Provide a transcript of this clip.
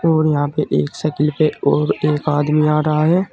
और यहां पे एक साइकिल पे और एक आदमी आ रहा है।